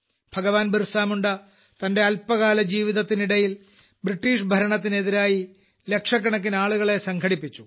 ഭഗവാൻ ബിർസാമുണ്ട തന്റെ അല്പകാല ജീവിതത്തിനിടയിൽ ബ്രിട്ടീഷ് ഭരണത്തിനെതിരായി ലക്ഷക്കണക്കിനാളുകലെ സംഘടിപ്പിച്ചു